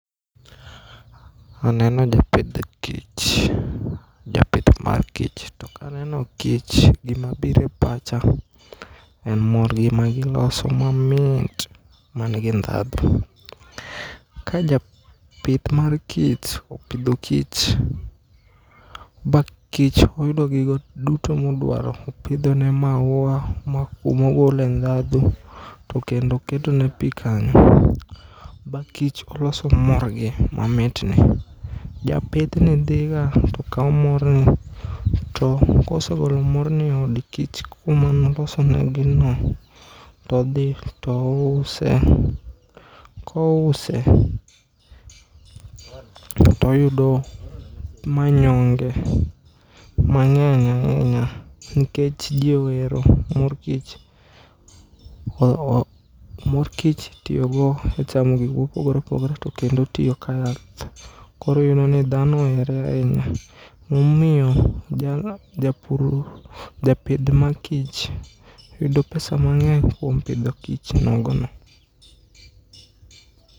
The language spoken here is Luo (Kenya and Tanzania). Aneno japidh kich, japith mar kich to kaneno kich gima biro e pacha en morgi magiloso mamit manigi ndhadhu. Ka japith mar kich opidho kich ba kich oyudo gigo duto modwaro opidhone maua ma kumogole ndhadhu to kendo oketone pii kanyo ba kich oloso morgi mamitni. Japithni dhiga tokao morni to kosegolo morni eod kich kuma nolosonegino todhi touse kouse toyudo manyonge mang'eny ainya nikech jowero mor kich itiyogo e chamo gik mopogore opogore to kendo otiyo kayath. Koro iyudoni dhano ohere ainya momiyo japur, japith ma kich yudo pesa mang'eny kuom pidho kich nogono.